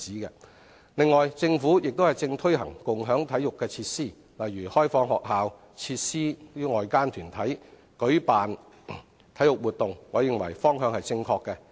此外，政府正推行共享體育設施，例如開放學校設施予外間團體舉辦體育活動，我認為方向正確。